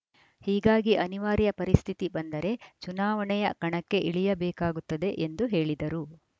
ಹೀಗಾಗಿ ಅನಿವಾರ್ಯ ಪರಿಸ್ಥಿತಿ ಬಂದರೆ ಚುನಾವಣೆಯ ಕಣಕ್ಕೆ ಇಳಿಯಬೇಕಾಗುತ್ತದೆ ಎಂದು ಹೇಳಿದರು